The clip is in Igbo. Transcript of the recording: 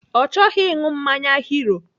Ọ chọghị ịṅụ mmanya Hero.